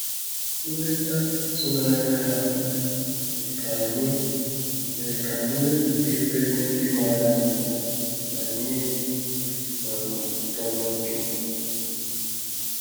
Nleta ịtụnanya ahụ mere ka anyị mere ka anyị wepụta efere ndị mara mma ma nye nri um ụtọ n'oge.